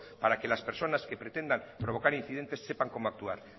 para que las personas que pretendan provocar incidentes sepan cómo actuar